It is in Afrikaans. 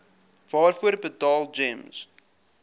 waarvoor betaal gems